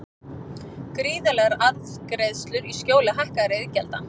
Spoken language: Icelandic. Gríðarlegar arðgreiðslur í skjóli hækkaðra iðgjalda